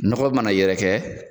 Nɔgɔ mana yɛrɛkɛ